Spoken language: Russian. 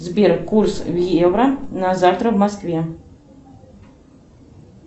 сбер курс евро на завтра в москве